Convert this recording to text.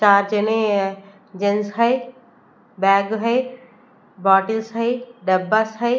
Gents है bag है bottles है डब्बास है।